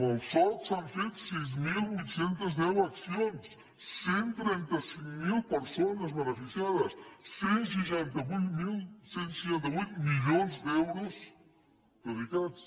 amb el soc s’han fet sis mil vuit cents i deu accions cent i trenta cinc mil persones beneficiades cent i seixanta vuit milions d’euros dedicats